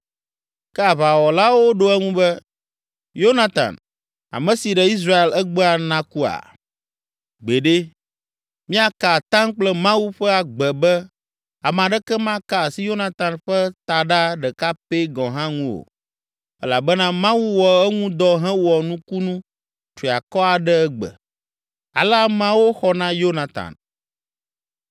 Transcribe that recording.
Ke aʋawɔlawo ɖo eŋu be, “Yonatan, ame si ɖe Israel egbea nakua? Gbeɖe! Míeka atam kple Mawu ƒe agbe be ame aɖeke maka asi Yonatan ƒe taɖa ɖeka pɛ gɔ̃ hã ŋu o elabena Mawu wɔ eŋu dɔ hewɔ nukunu triakɔ aɖe egbe.” Ale ameawo xɔ na Yonatan.